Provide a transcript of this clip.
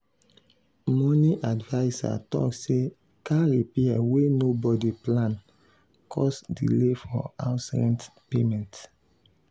money adviser talk say car repair wey nobody plan cause delay for house rent payment.